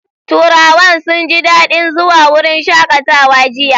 Turawan sun ji dadin zuwa wurin shakatawa jiya.